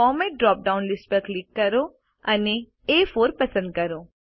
format drop down list પર click કરો અને એ4 પસંદ કરો